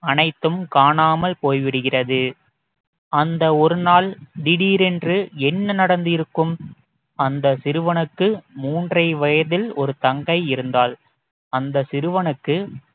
அனைத்தும் காணாமல் போய்விடுகிறது அந்த ஒரு நாள் திடீரென்று என்ன நடந்திருக்கும் அந்த சிறுவனுக்கு மூன்றரை வயதில் ஒரு தங்கை இருந்தாள் அந்த சிறுவனுக்கு